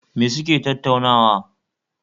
Me suke tattaunawa?